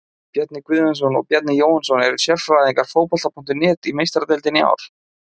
Bjarni Guðjónsson og Bjarni Jóhannsson og eru sérfræðingar Fótbolta.net í Meistaradeildinni í ár.